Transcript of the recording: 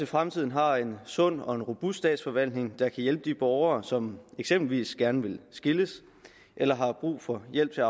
fremtiden har en sund og en robust statsforvaltning der kan hjælpe de borgere som eksempelvis gerne vil skilles eller har brug for hjælp til